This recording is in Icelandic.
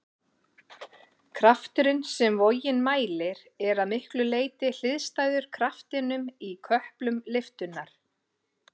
Krafturinn sem vogin mælir er að miklu leyti hliðstæður kraftinum í köplum lyftunnar.